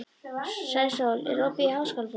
Sæsól, er opið í Háskólabúðinni?